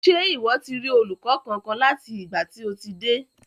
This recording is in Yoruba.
Ṣe iwọ ti rí olùkọ kánkan láti ìgbà tí o ti dé.